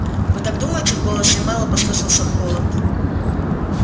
вы так думаете в голосе мэллоу послышался холод